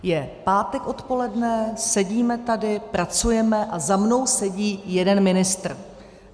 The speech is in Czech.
Je pátek odpoledne, sedíme tady, pracujeme, a za mnou sedí jeden ministr.